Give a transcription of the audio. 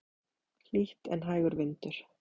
Hlýtt en hægur vindur.